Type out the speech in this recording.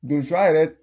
Donsoya yɛrɛ